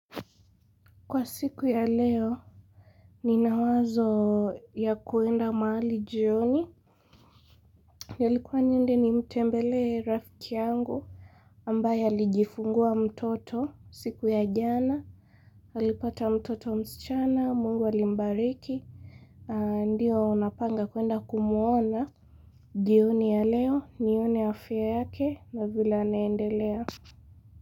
Kwa siku ya leo ni nawazo ya kuenda mahali jioni nilikuwa niende ni mtembele rafiki yangu ambaye alijifungua mtoto siku ya jana alipata mtoto msichana mungu alimbariki ndiyo unapanga kuenda kumuona jioni ya leo ni one ya fia yake na vile anendelea.